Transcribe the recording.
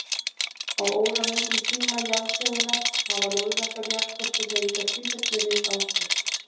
Á óralöngum tíma jarðsögunnar hafa lóðréttar jarðskorpuhreyfingar sífellt verið í gangi.